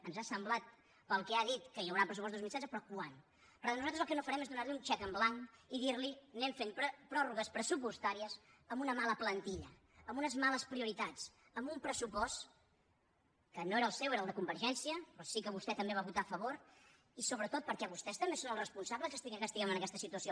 ens ha semblat pel que ha dit que hi haurà pressupost dos mil setze però quan però nosaltres el que no farem és donar li un xec en blanc i dir li anem fent pròrrogues pressupostàries amb una mala plantilla amb unes males prioritats amb un pressupost que no era el seu era el de convergència però sí que vostè també hi va votar a favor i sobretot perquè vostès també són els responsables que estiguem en aquesta situació